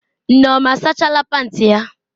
Nneoma asachala panti ya?